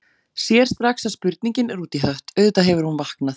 Sér strax að spurningin er út í hött, auðvitað hefur hún vaknað.